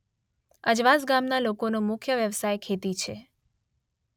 અજવાસ ગામના લોકોનો મુખ્ય વ્યવસાય ખેતી છે.